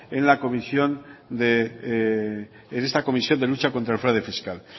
en esta comisión de lucha contra el fraude fiscal